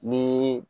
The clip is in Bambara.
Ni